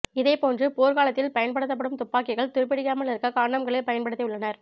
இதே போன்று போர்க்காலத்தில் பயன்படுத்தப்படும் துப்பாக்கிகள் துரும்பிடிக்காமல் இருக்க காண்டம்களை பயன்படுத்தி உள்ளனர்